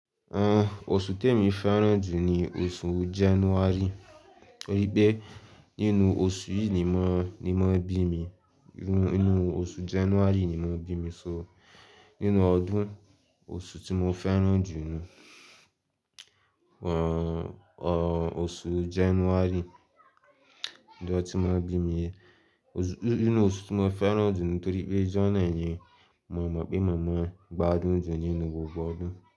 À, oṣù tí èmi féràn jù ni oṣù January toripe nínú oṣù yìí ni won, ni won bí mi, nínú oṣù January ni won bí mi, so nínú ọdún oṣù tí mo féràn jù ni o, oṣù January nígbà tí won bí mi. Oṣù, nínú oṣù tí mo féràn jù ni toripe January ni mo mọ̀ pé màmá gba dùn jù nínú gbogbo ọdún.